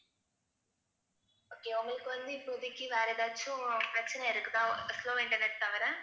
okay உங்களுக்கு வந்து இப்போதைக்கு வேற ஏதாச்சும் பிரச்சனை இருக்குதா slow இன்டர்நெட் தவிர